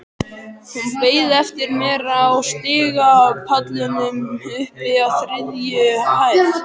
Hún beið eftir mér á stigapallinum uppi á þriðju hæð.